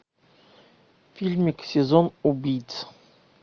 фильмик сезон убийц